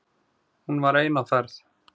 Hún var ein á ferð.